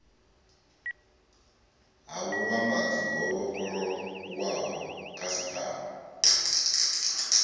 ha vhuvhambadzi ho vhofholowaho khasiṱama